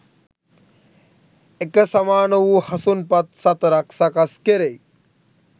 එක සමාන වූ හසුන් පත් සතරක් සකස් කෙරෙයි.